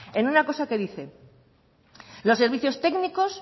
en una cosa que dice los servicios técnicos